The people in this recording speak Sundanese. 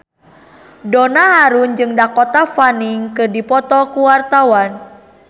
Donna Harun jeung Dakota Fanning keur dipoto ku wartawan